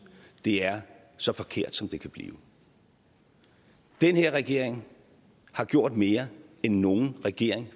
det er så forkert som det kan blive den her regering har gjort mere end nogen regering